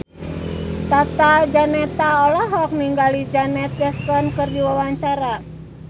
Tata Janeta olohok ningali Janet Jackson keur diwawancara